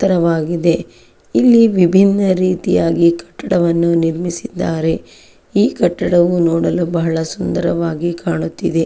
ಎತ್ತರವಾಗಿದೆ ಇಲ್ಲಿ ವಿಬ್ಬಿನ ರೀತಿಯಾಗಿ ಕಟ್ಟಡವನ್ನು ನಿರ್ಮಿಸಿದ್ದಾರೆ ಈ ಕಟ್ಟಡವನ್ನು ನೋಡಲು ಬಹಳ ಸುಂದರವಾಗಿ ಕಾಣುತಿದೆ.